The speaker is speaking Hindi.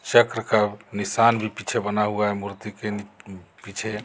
चक्र का निशान भी पीछे बना हुआ है मूर्ति के पीछे --